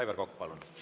Aivar Kokk, palun!